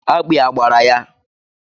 Akpị a gbara ya?